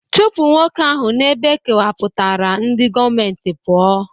Chụpụ nwoke ahụ n'ebe e kewapụtara ndị gọọmentị pụọ!